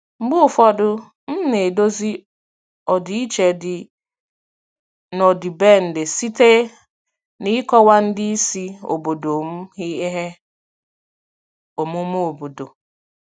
Mgbe ụfọdụ, m na-edozi ọdịiche dị n'ọdịbendị site n'ịkọwa ndị isi obodo m ihe omume obodo.